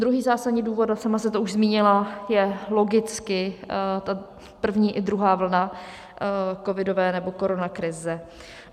Druhý zásadní důvod, a sama jste to už zmínila, je logicky ta první i druhá vlna covidové, nebo koronakrize.